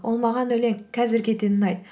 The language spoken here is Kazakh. ол маған өлең қазірге дейін ұнайды